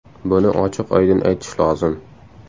Buni ochiq-oydin aytish lozim.